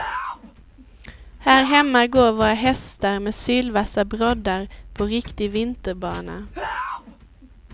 Här hemma går våra hästar med sylvassa broddar på riktig vinterbana.